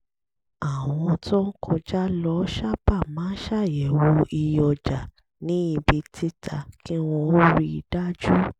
àwọn tó ń kọjá lọ sábà máa ń ṣàyẹ̀wò iye ọjà ní ibi títa kí wọn ó rí i dájú